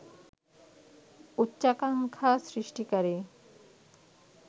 উচ্চাকাঙ্খা সৃষ্টিকারী